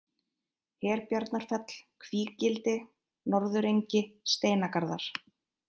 Herbjarnarfell, Kvígildi, Norðurengi, Steinagarðar